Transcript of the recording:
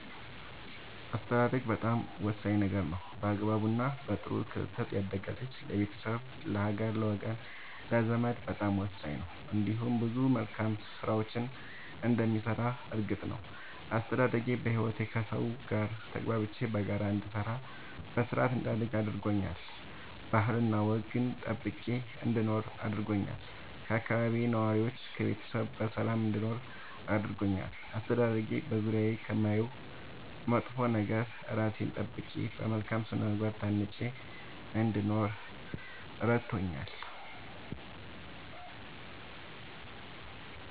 አስተዳደግ በጣም ወሳኝ ነገር ነው በአግባቡ እና በጥሩ ክትትል ያደገ ልጅ ለቤተሰብ ለሀገር ለወገን ለዘመድ በጣም ወሳኝ ነው እንዲሁም ብዙ መልካም ስራዎችን እንደሚሰራ እርግጥ ነው። አስተዳደጌ በህይወቴ ከሠው ጋር ተግባብቼ በጋራ እንድሰራ በስርአት እንዳድግ አድርጎኛል ባህልና ወግን ጠብቄ እንድኖር አድርጎኛል ከአካባቢዬ ነዋሪዎች ከቤተሰብ በሰላም እንድኖር አድርጎኛል። አስተዳደጌ በዙሪያዬ ከማየው መጥፎ ነገር እራሴን ጠብቄ በመልካም ስነ ምግባር ታንጬ እንድኖር እረድቶኛል።